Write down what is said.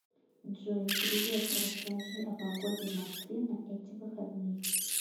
джой привет расскажи о погоде в москве на эти выходные